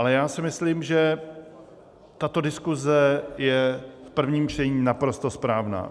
Ale já si myslím, že tato diskuse je v prvním čtení naprosto správná.